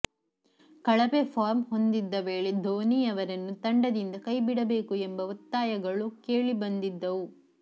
ಕಳಪೆ ಫಾರ್ಮ್ ಹೊಂದಿದ್ದ ವೇಳೆ ಧೋನಿ ಅವರನ್ನು ತಂಡದಿಂದ ಕೈಬಿಡಬೇಕು ಎಂಬ ಒತ್ತಾಯಗಳು ಕೇಳಿಬಂದಿದ್ದವು